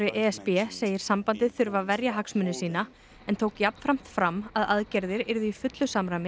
e s b segir sambandið þurfa að verja hagsmuni sína en tók jafnframt fram að aðgerðir yrðu í fullu samræmi